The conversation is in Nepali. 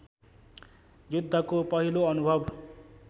युद्धको पहिलो अनुभव